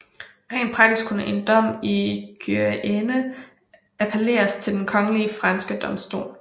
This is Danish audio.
Rent praktisk kunne en dom i Guyenne appelleres til den kongelige franske domstol